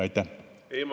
Aitäh!